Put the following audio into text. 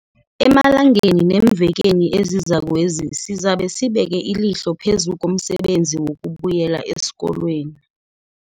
Emalangeni neemvekeni ezizakwezi sizabe sibeke ilihlo phezu komsebenzi wokubuyela esikolweni.